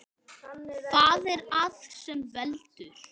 Hvað er það sem veldur?